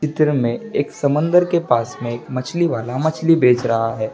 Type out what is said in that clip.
चित्र मे एक समंदर के पास मे एक मछली वाला मछली बेच रहा है।